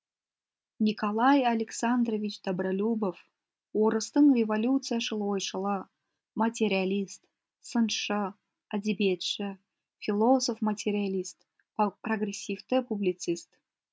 николай александрович добролюбов орыстың революцияшыл ойшылы материалист сыншы әдебиетші философ материалист прогрессивті публицист